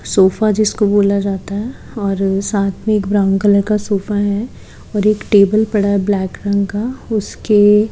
sofa जिसको बोला जाता हैं और साथ में ब्राउन कलर का सोफा हैं और एक टेबल पड़ा हुआ हैं ब्लैक रंग का उसके--